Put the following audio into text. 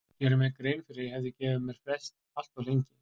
Geri mér grein fyrir að ég hef gefið mér frest allt of lengi.